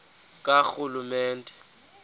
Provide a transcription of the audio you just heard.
karhulumente